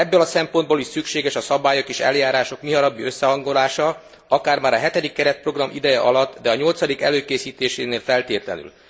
Ebből a szempontból is szükséges a szabályok és eljárások mihamarabbi összehangolása, akár már a hetedik keretprogram ideje alatt, de a nyolcadik előkészítésénél feltétlenül.